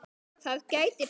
Það gæti breyst.